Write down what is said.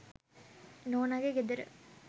නෝනගෙ ගෙදර.